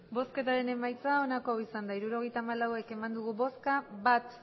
emandako botoak hirurogeita hamalau bai bat